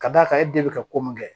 Ka d'a kan e den bɛ ka ko mun kɛ